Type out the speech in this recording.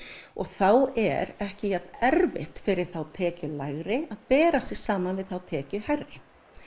þá er ekki jafn erfitt fyrir þá tekjulægri að bera sig saman við þá tekjuhærri